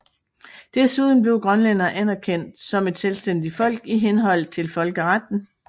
Desuden blev grønlænderne anerkendt som et selvstændigt folk i henhold til folkeretten